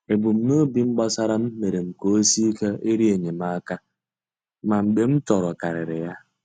Ebumnobi m gbasara m mere ka o sie ike ịrịọ enyemaka, ma mgbe m chọrọkarịrị ya.